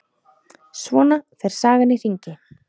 Svona fer sagan í hringi.